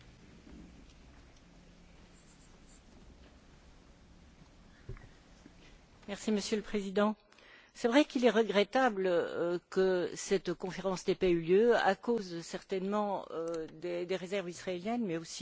Monsieur le Président, c'est vrai qu'il est regrettable que cette conférence n'ait pas eu lieu à cause, certainement, des réserves israéliennes, mais c'est aussi, sans doute, à cause du timing et de la situation particulièrement délicate, aujourd'hui, avec